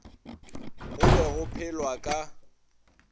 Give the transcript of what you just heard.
go be go phelwa ka